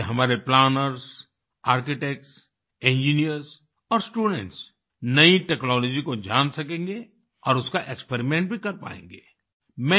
इससे हमारे planners architects engineers और स्टूडेंट्स नई टेक्नोलॉजी को जान सकेंगे और उसका एक्सपेरिमेंट भी कर पायेंगे